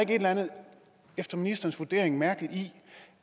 efter ministerens vurdering mærkeligt i